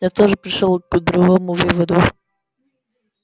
я тоже пришёл к другому выводу